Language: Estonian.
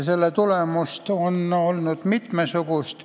Seda on olnud mitmesugust.